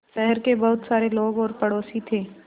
शहर के बहुत सारे लोग और पड़ोसी थे